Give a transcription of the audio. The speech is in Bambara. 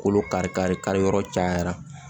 Kolo kari kari kari yɔrɔ cayara